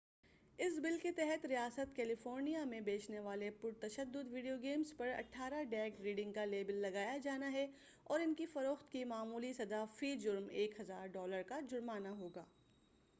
اس بل کے تحت ریاست کیلیفورنیا میں بیچنے والے پرتشدد ویڈیو گیمز پر 18 ڈیک ریڈنگ کا لیبل لگایا جانا ہے اور ان کی فروخت کی معمولی سزا فی جرم $ 1000 کا جرمانہ ہوگا۔